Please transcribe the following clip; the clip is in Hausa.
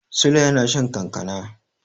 Sule yana shan kankana.